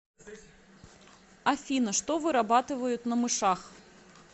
афина что вырабатывают на мышах